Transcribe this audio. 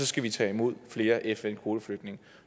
skal tage imod flere fn kvoteflygtninge